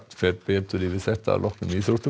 fer betur yfir þetta að loknum íþróttum